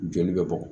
Joli bɛ bɔ